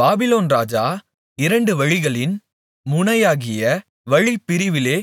Babylon ராஜா இரண்டு வழிகளின் முனையாகிய வழிப்பிரிவிலே